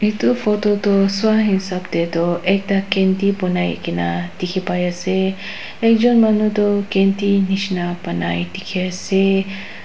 etu photo tu sua hesap te to ekta candy bonai kena dekhi pai ase ekjon manu to candy nishna bonai dekhi ase.--